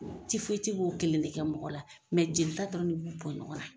b'o kelen de kɛ mɔgɔ la mɛ jelita dɔrɔn de b'u bɔ ɲɔgɔnna